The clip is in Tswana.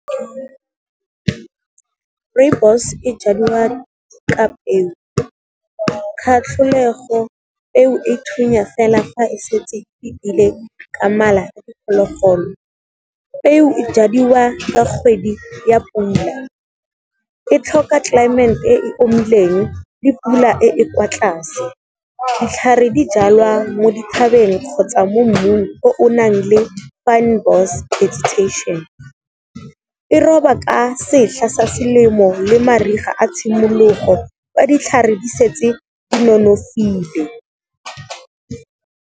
Rooibos e jadiwa ka peo, kgatlholego eo e thunya fela fa e setse e ke mala a diphologolo. Peo e jadiwa ka kgwedi ya pula, e tlhoka climate e omileng le pula e e kwa tlase. Ditlhare di jalwa mo dithabeng kgotsa mo mmung o o nang le fynbos vegetation, e roba ka setlha sa selemo le mariga a tshimologo fa ditlhare di setse di nonofile.